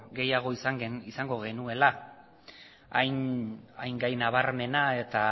gehiago izango genuela hain gai nabarmena eta